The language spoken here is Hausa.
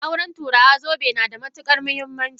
A aure turawa, zobe yana da matukar muhimmanci.